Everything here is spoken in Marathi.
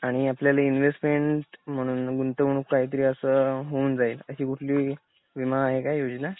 आणि आपल्याला इन्व्हेस्टमेंट म्हणून गुंतवणूक काहीतरी असं होऊन जाईल अशी कुठली विमा आहे का योजना?